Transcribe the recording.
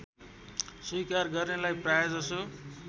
स्वीकार गर्नेलाई प्रायजसो